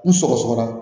N sɔgɔ sɔgɔra